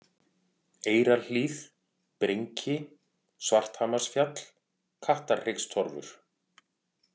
Eyrarhlíð, Brinki, Svarthamarsfjall, Kattarhryggstorfur